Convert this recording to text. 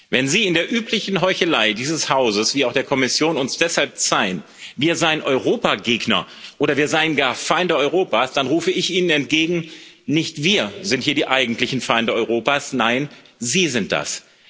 Wenn Sie in der üblichen Heuchelei dieses Hauses wie auch der Kommission uns deshalb zeihen, wir seien Europagegner oder wir seien gar Feinde Europas, dann rufe ich Ihnen entgegen Nicht wir sind hier die eigentlichen Feinde Europas, nein, Sie sind das!